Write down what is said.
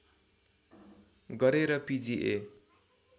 गरे र पिजिए